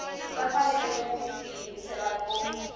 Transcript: va fanele ku tiyimisela ku